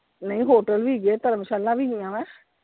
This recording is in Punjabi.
ਨਹੀਂ hotel ਵੀ ਹੈਗੇ ਆ ਧਰਮਸ਼ਾਲਾ ਵੀ ਹੈਗੀਆਂ ਆ।